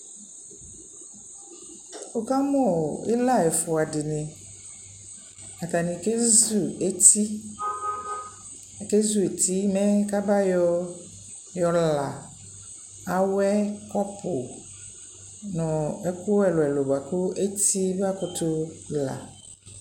Wukamuu ilaa ɛfua dini atani keʒu eti akeʒueti mɛ kaba yɔɔ yɔlaa awɛ kɔpuu ɛluɛlu bua ketie makutu laa